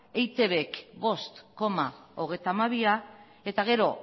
eitbk ehuneko bost koma hogeita hamabia eta gero